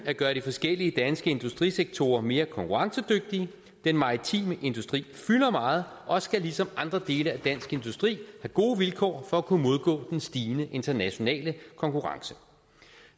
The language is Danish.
at gøre de forskellige danske industrisektorer mere konkurrencedygtige den maritime industri fylder meget og skal ligesom andre dele af dansk industri gode vilkår for at kunne modgå den stigende internationale konkurrence